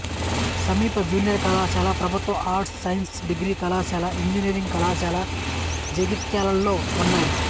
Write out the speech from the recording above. సమీప జూనియర్ కళాశాల ప్రభుత్వ ఆర్ట్స్ సైన్స్ డిగ్రీ కళాశాల ఇంజనీరింగ్ కళాశాల జగిత్యాలలో ఉన్నాయి